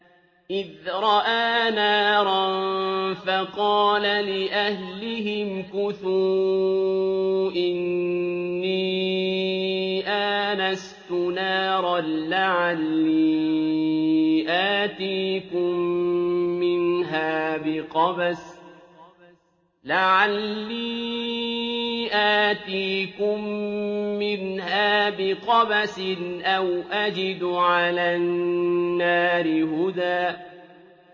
إِذْ رَأَىٰ نَارًا فَقَالَ لِأَهْلِهِ امْكُثُوا إِنِّي آنَسْتُ نَارًا لَّعَلِّي آتِيكُم مِّنْهَا بِقَبَسٍ أَوْ أَجِدُ عَلَى النَّارِ هُدًى